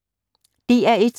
DR1